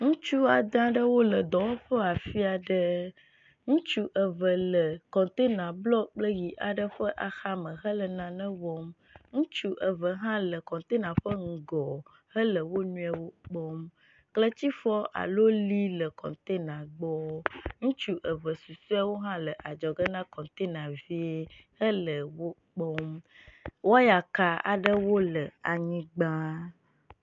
Ŋutsu ade aɖewo le dɔwɔƒe afi aɖe. Ŋutsu eve le kɔtena blu aɖe kple ʋi aɖe ƒe axame le nane wɔm. Ŋutsu eve hã le kɔntena ƒe ŋgɔ hele wo nɔewo kpɔm. Kletifɔ alo li le kɔntena gbɔ. Ŋutsu eve susɔewo hã le adzɔge ne kɔntena vie hele wo kpɔm.